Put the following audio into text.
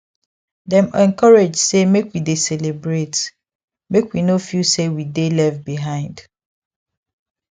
dem encourage say make we dey celebrate make we no feel say we dey left behind